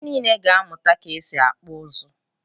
ạnyị niile ga-amụta ka e si akpụ ụzụ.